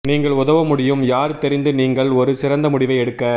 நீங்கள் உதவ முடியும் யார் தெரிந்து நீங்கள் ஒரு சிறந்த முடிவை எடுக்க